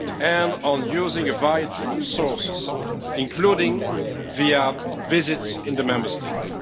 and on using a variety of sources, including via visits in the Member States.